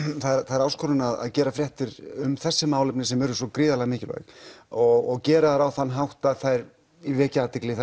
það er áskorun að gera fréttir um þessi málefni sem eru svo gríðarlega mikilvæg og gera þær á þann hátt að þær vekji athygli